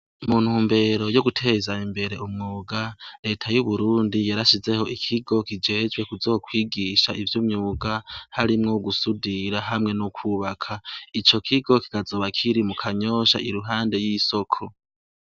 Mu ntumbero yo guteza imbere umwuga, Leta y'uburundi yarashizeho ikigo kijejwe kuzokwigisha ivyo umwuga harimwo gusudira hamwe no kwubaka. Ico kigo kikazoba kiri mu Kanyosha iruhande y'isoko.